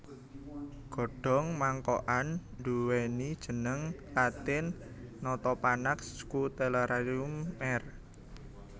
Godhong mangkokan ndhuwèni jeneng latin Nothopanax scutellarium Merr